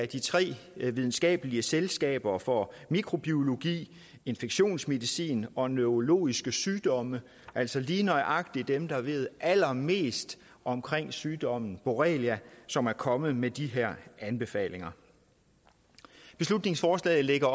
de tre videnskabelige selskaber for mikrobiologi infektionsmedicin og neurologiske sygdomme altså lige nøjagtig dem der ved allermest om sygdommen borrelia som er kommet med de her anbefalinger beslutningsforslaget lægger